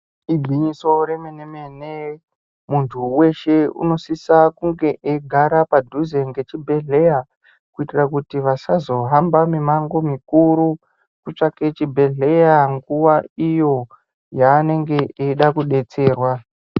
Igwinyiso remene-mene, muntu weshe unosise kunge eigara padhuze nechibhedhlera kuitira kuti vasazohamba mumango mikuru kutsvaka chibhedhleya nguwa iyo yaanenge eida kudetserwa.